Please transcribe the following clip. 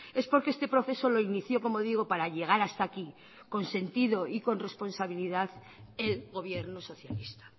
es porque este proceso lo inició como digo para llegar hasta aquí con sentido y con responsabilidad el gobierno socialista